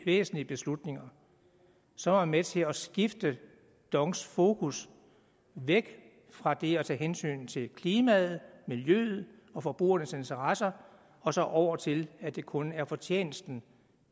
væsentlige beslutninger så er med til at skifte dongs fokus væk fra det at tage hensyn til klimaet miljøet og forbrugernes interesser og så over til at det kun er fortjenesten